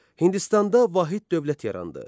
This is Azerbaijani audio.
Hindistanda vahid dövlət yarandı.